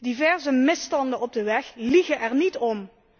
Diverse misstanden op de weg liegen er niet om.